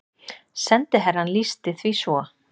Sendiherrann lýsti því svo